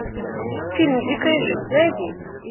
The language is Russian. фильм дикая жизнь найди